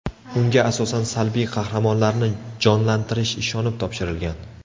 Unga asosan salbiy qahramonlarni jonlantirish ishonib topshirilgan.